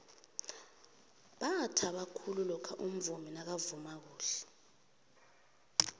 bathaba khulu lokha umvumi nakavuma khuhle